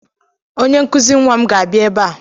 onye nkụzi nnwa m ga-abịa ebe a